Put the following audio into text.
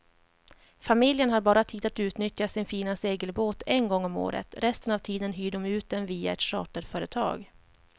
Familjen har bara tid att utnyttja sin fina segelbåt en gång om året, resten av tiden hyr de ut den via ett charterföretag.